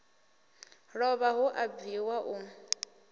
lovha hu a bviwa u